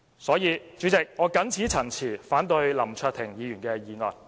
所以，主席，我謹此陳辭，反對林卓廷議員的議案。